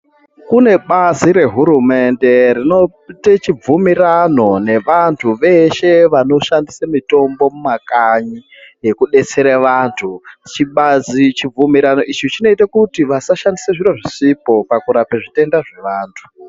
Kune bazi nehurumende rinoite chibvumirano nevantu veshe vanoshandise mitombo yemumakanyi nekudetsera vanfi chibvumirano ichi chinoite kuti vasashandisa zvisipo pakurape zvitenda zvevantu.